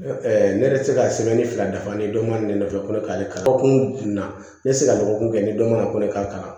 ne yɛrɛ ti se ka fila dafa ni dɔnba ne nɔfɛ ko ne k'ale kalan dɔgɔkun na ne tɛ se ka dɔgɔkun kɛ ni dɔ ma ko ne k'a kalan